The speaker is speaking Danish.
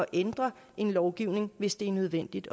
ændre en lovgivning hvis det er nødvendigt